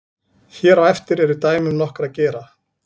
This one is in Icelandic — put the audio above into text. hér á eftir eru dæmi um nokkra gera